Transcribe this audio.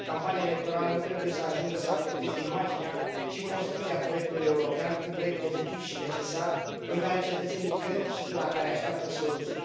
Campania electorală nu trebuie să ajungă să afecteze imaginea și construcția proiectului european un proiect pozitiv și necesar în care cetățenii cred și de la care așteaptă soluții.